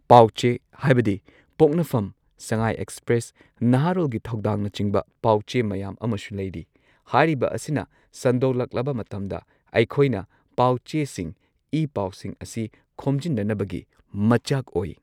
ꯄꯥꯎ ꯆꯦ ꯍꯥꯏꯕꯗꯤ ꯄꯣꯛꯅꯐꯝ ꯁꯉꯥꯏ ꯑꯦꯛꯁꯄ꯭ꯔꯦꯁ ꯅꯥꯍꯥꯔꯣꯜꯒꯤ ꯊꯧꯗꯥꯡꯅꯆꯤꯡꯕ ꯄꯥꯎ ꯆꯦ ꯃꯌꯥꯝ ꯑꯃꯁꯨ ꯂꯩꯔꯤ ꯍꯥꯏꯔꯤꯕ ꯑꯁꯤꯅ ꯁꯟꯗꯣꯛꯂꯛꯂꯕ ꯃꯇꯝꯗ ꯑꯩꯈꯣꯏꯅ ꯄꯥꯎ ꯆꯦꯁꯤꯡ ꯏ ꯄꯥꯎꯁꯤꯡ ꯑꯁꯤ ꯈꯣꯝꯖꯤꯟꯅꯅꯕꯒꯤ ꯃꯆꯥꯛ ꯑꯣꯏ꯫